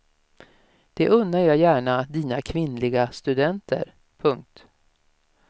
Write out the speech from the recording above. Det unnar jag gärna dina kvinnliga studenter. punkt